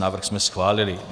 Návrh jsme schválili.